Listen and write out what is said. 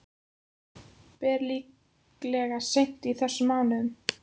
Ber líklega seint í þessum mánuði.